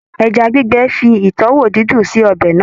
Ẹja gbígbẹ fi ìtúwò dídùn sí ọbẹ̀ náà.